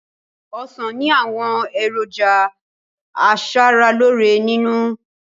Ọ̀sán ni àwọn èròjà asaraloore nínú